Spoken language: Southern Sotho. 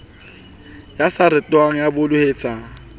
ya sa rutehang ya bolotseng